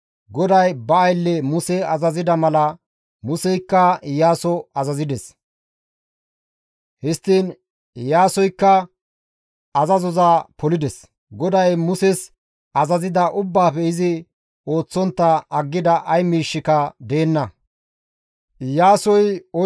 GODAY ba aylle Muse azazida mala Museykka Iyaaso azazides. Histtiin Iyaasoykka azazoza polides; GODAY Muses azazida ubbaafe izi ooththontta aggida ay miishshika deenna.